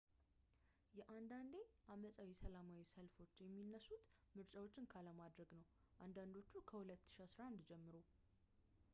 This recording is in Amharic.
የአንዳንዴ-ዓመፃዊ ሰላማዊ ሰልፎች የሚነሱት ምርጫዎችን ካለማድረግ ነው አንዳንዶቹ ከ2011 ጀምሮ